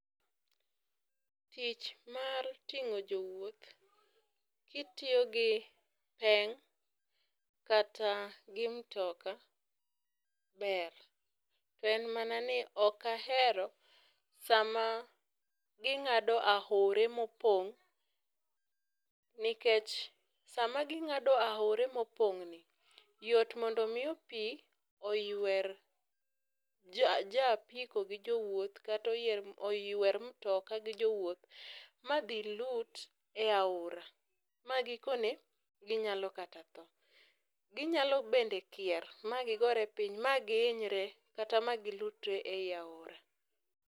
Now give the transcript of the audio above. Tich mar ting'o jowuoth kitiyo gi peng' kata gi mtoka ber. En mana ni ok ahero sama ging'ado aore mopong' nikech sama ging'ado aore mopong'ni yot mondo miyo pi oywer jo japiko gi jowuoth, kata oyer oywer mtoka gi jowuoth ma gilutre e aora ma gikone, ginyalo kata tho. Ginyalo bende Kier magigore piny ma gihinyre kata ma gilutre e aora.